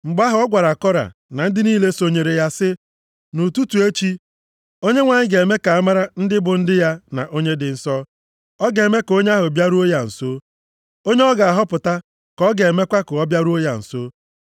Mgbe ahụ, ọ gwara Kora na ndị niile sonyeere ya, sị, “Nʼụtụtụ echi, Onyenwe anyị ga-eme ka amara ndị bụ ndị ya na onye dị nsọ. Ọ ga-eme ka onye ahụ bịaruo ya nso. Onye ọ ga-ahọpụta ka ọ ga-emekwa ka ọ bịaruo ya nso.